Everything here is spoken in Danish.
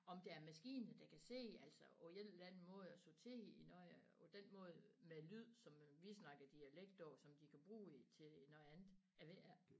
Om der er maskiner der kan se altså på én eller anden måde og sortere i noget på den måde med lyd som vi snakker dialekt på som de kan bruge i til noget andet jeg ved det ikke